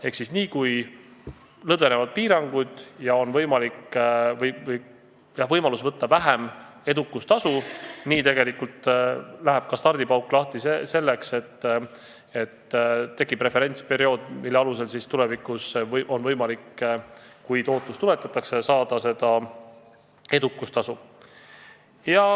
Ehk siis niipea, kui lõdvenevad piirangud ja on võimalus võtta vähem edukustasu, läheb ka stardipauk lahti selleks, et tekiks referentsperiood, mille alusel on tulevikus, kui tootlus tuletatakse, võimalik saada edukustasu.